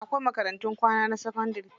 Akwai makarantun kwana na sakandari.